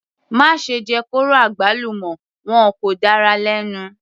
Má ṣe jẹ kóró àgbálùmọ́, wọn kò dára lẹ́nu.